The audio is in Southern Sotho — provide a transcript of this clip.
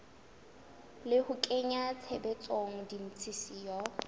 le ho kenya tshebetsong ditshisinyo